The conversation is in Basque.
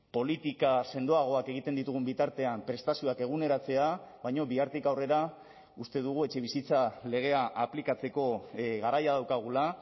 politika sendoagoak egiten ditugun bitartean prestazioak eguneratzea baina bihartik aurrera uste dugu etxebizitza legea aplikatzeko garaia daukagula